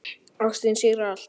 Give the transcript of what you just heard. Ástin sigrar allt.